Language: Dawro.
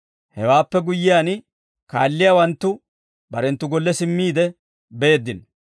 Hewaappe guyyiyaan, kaalliyaawanttu barenttu golle simmiide beeddino.